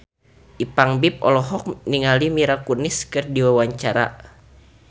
Ipank BIP olohok ningali Mila Kunis keur diwawancara